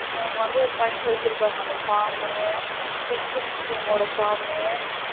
அவங்க வந்து ஒரு பஞ்ச் வச்சிருப்பாங்க அந்த form மு pension scheme வோட form மு